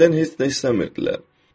Məndən heç nə də istəmirdilər.